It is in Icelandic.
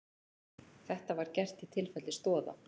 Þetta var gert í tilfelli Stoða